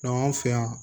anw fɛ yan